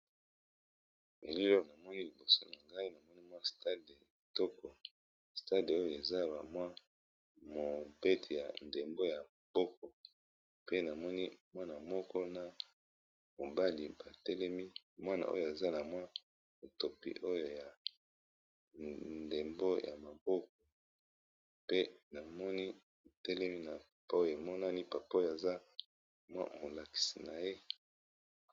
mililor na moi liboso na ngai namoni mwa stade toko stade oyo eza ba mwa mobete ya ndembo ya boko pe namoni mwana moko na mobali batelemi mwana oyo aza na mwa etopi oyo ya ndembo ya maboko pe namoni telemi napo emonani papoye aza mwa molakisi na ye